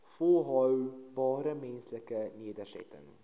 volhoubare menslike nedersettings